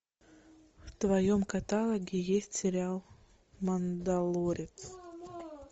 в твоем каталоге есть сериал мандалорец